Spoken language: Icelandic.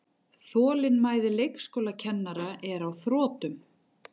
Þolinmæði leikskólakennara er á þrotum